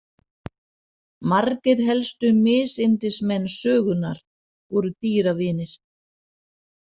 Margir helstu misyndismenn sögunnar voru dýravinir.